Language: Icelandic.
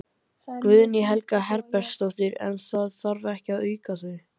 Guðný Helga Herbertsdóttir: En það þarf ekki að auka það?